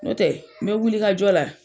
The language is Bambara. Nɔ tɛ n bɛ wulikajɔ la.